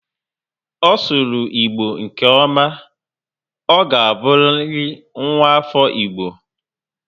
Ọ sụrụ Igbo nke ọma. Ọ ga buriri nwa afọ Igbo